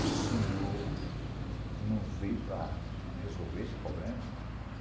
O senhor não veio para resolver esse problema?